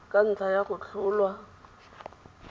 ka ntlha ya go tlholwa